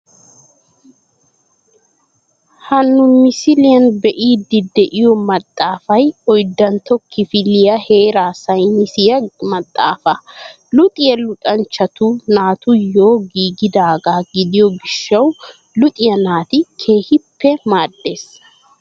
Ha nu misiliyaan be'idi de'iyoo maxaafay oyddantto kifiliyaa heeraa saynisiyaa maxaafaa. Luxxiyaa luxxanchchatu naatuyoo giigidaagaa gidiyo giishshawu luxiyaa naati keehippe maaddees.